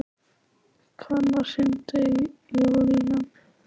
Hvannar, hringdu í Júlían.